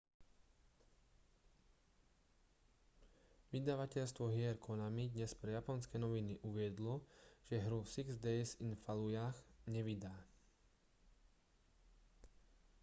vydavateľstvo hier konami dnes pre japonské noviny uviedlo že hru six days in fallujah nevydá